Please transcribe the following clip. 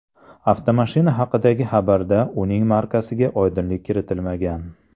Avtomashina haqidagi xabarda uning markasiga oydinlik kiritilmagan.